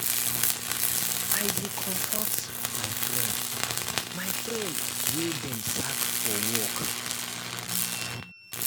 i dey comfort my friend my friend wey dem sack for work.